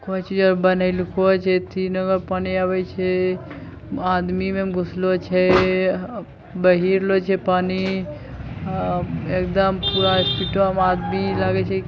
कोई चीजों क बनैलको छै। तीनो म पानी आवे छै। आदमी म घुसलो छै अ बहिरलो छै पानी अ एक दम पूरा स्पीडो म। आदमी लागे छे ।